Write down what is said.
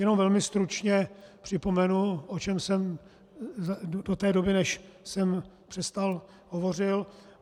Jenom velmi stručně připomenu, o čem jsem do té doby, než jsem přestal, hovořil.